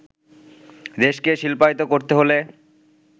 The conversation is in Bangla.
দেশকে শিল্পায়িত করতে হলে